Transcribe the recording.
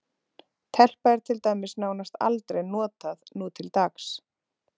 Telpa er til dæmis nánast aldrei notað nútildags.